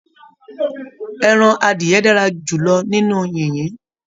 Ẹran adiyẹ́ dára jùlọ nínú yìnyín.